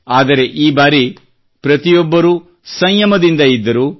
ಆದರೆ ಈ ಬಾರಿ ಪ್ರತಿಯೊಬ್ಬರೂ ಸಂಯಮದಿಂದ ಇದ್ದರು